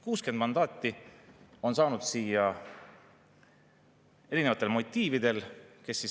60 mandaati on saanud siia erinevatel motiividel.